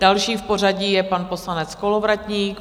Další v pořadí je pan poslanec Kolovratník.